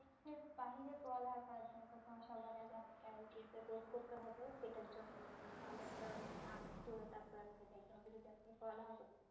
বাহিরে পড়ালেখা করার জন্য তো সবার আগে আপনাকে IELTS এর একটা কোর্স করতে হবে সেটার জন্য মানে ভালো একটা মার্ক তুলে তারপর আপনাকে যাইতে হবে যদি আপনি পড়ালেখা করতে